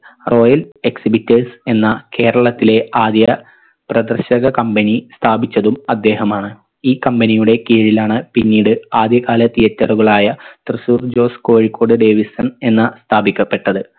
royal exhibiters എന്ന കേരളത്തിലെ ആദ്യ പ്രദർശക company സ്ഥാപിച്ചതും അദ്ദേഹമാണ് ഈ company യുടെ കീഴിലാണ് പിന്നീട് ആദ്യ കാല theatre കളായ തൃശൂർ ജോസ് കോഴിക്കോട് ഡേവിസൺ എന്ന സ്ഥാപിക്കപ്പെട്ടത്